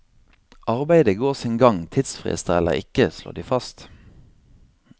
Arbeidet går sin gang, tidsfrister eller ikke, slår de fast.